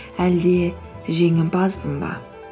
әлде жеңімпазбын ба